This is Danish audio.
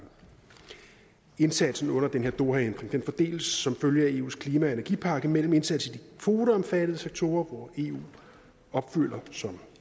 indsatsen under den her dohaændring fordeles som følge af eus klima og energipakke mellem indsats i de kvoteomfattede sektorer hvor eu opfylder som